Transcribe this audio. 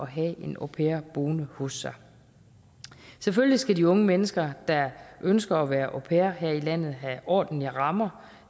have en au pair boende hos sig selvfølgelig skal de unge mennesker der ønsker at være au pair her i landet have ordentlige rammer